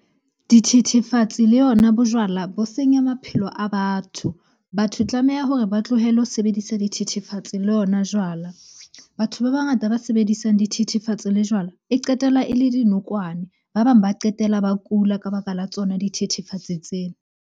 Dithethefatsi le yona bojwala bo senya maphelo a batho. Batho tlameha hore ba tlohele ho sebedisa dithethefatse le ona jwala. Batho ba bangata ba sebedisang dithethefatsi le jwala, e qetella e le dinokwane. Ba bang ba qetela ba kula ka baka la tsona dithethefatsi tsena.